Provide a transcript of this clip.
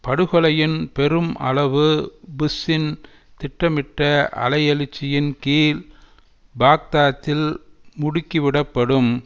படுகொலையின் பெரும் அளவு புஷ்ஷின் திட்டமிட்ட அலையெழுச்சியின் கீழ் பாக்தாத்தில் முடுக்கிவிடப்படும்